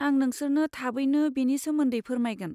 आं नोंसोरनो थाबैनो बेनि सोमोन्दै फोरमायगोन।